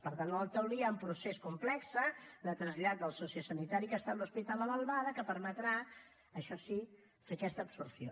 per tant en el taulí hi ha un procés complex de trasllat del sociosanitari que ha estat l’hospital a l’albada que permetrà això sí fer aquesta absorció